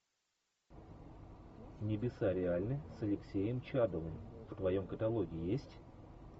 небеса реальны с алексеем чадовым в твоем каталоге есть